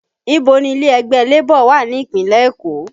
Ibo ni ilé ẹgbẹ́ Labour wà ní ìpínlẹ̀ Èkó?